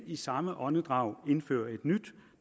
i samme åndedrag indfører et nyt